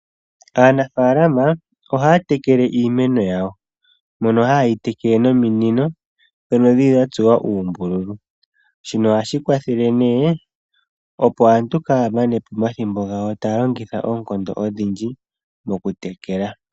Aanafalama oha ya tekele iimeno yawo, mono haye yi tekele nominino ndhono dhi li dha tsuwa uumbululu shino oha shi kwathele nee opo aantu kaaya manepo omathimbo gawo taya longitha oonkondo odhindji mokutekela.